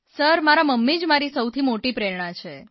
મારા મમ્મી જ મારી સૌથી મોટી પ્રેરણા છે